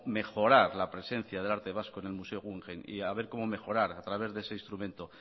mejorar la presencia del arte vasco en el museo guggemhein y a ver cómo mejorar a través de ese instrumento